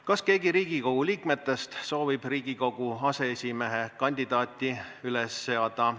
Kas keegi Riigikogu liikmetest soovib Riigikogu aseesimehe kandidaati üles seada?